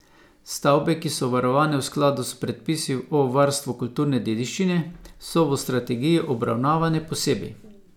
Stavbe, ki so varovane v skladu s predpisi o varstvu kulturne dediščine, so v strategiji obravnavane posebej.